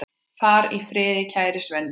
Far í friði, kæri Svenni.